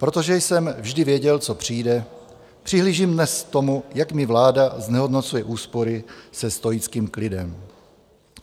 Protože jsem vždy věděl, co přijde, přihlížím dnes k tomu, jak mi vláda znehodnocuje úspory se stoickým klidem.